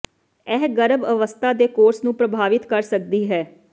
ਇਹ ਗਰਭ ਅਵਸਥਾ ਦੇ ਕੋਰਸ ਨੂੰ ਪ੍ਰਭਾਵਤ ਕਰ ਸਕਦੀ ਹੈ